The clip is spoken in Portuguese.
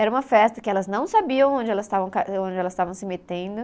Era uma festa que elas não sabiam onde elas estavam ca, onde elas estavam se metendo.